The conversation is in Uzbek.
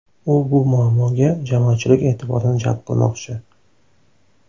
U bu muammoga jamoatchilik e’tiborini jalb qilmoqchi.